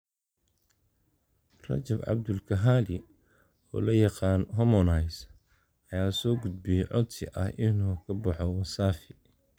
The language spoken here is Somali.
Rajab Abdul Kahali, oo loo yaqaan Harmonize, ayaa soo gudbiyay codsi ah inuu ka baxo Wasafi